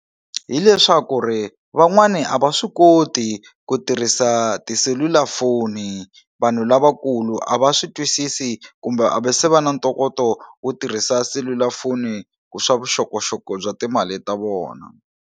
Hi leswaku ri van'wani a va swi koti ku tirhisa tiselulafoni vanhu lavakulu a va swi twisisi kumbe a va se va na ntokoto wo tirhisa selulafoni ku swa vuxokoxoko bya timali ta vona.